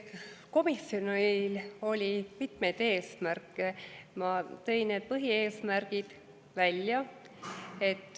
Komisjonil on mitmeid eesmärke, ma tõin need põhieesmärgid välja.